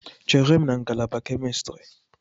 Chere m na ngalaba kemistri!